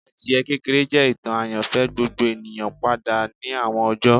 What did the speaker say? Adie kekere jẹ itan ayanfẹ gbogbo eniyan pada ni awọn ọjọ